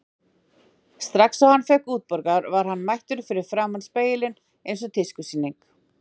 Strax og hann fékk útborgað var hann mættur fyrir framan spegilinn eins og tískusýning.